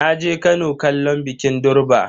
Naje Kano kallon bikin durbar.